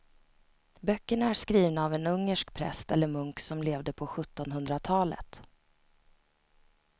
Böckerna är skrivna av en ungersk präst eller munk som levde på sjuttonhundratalet.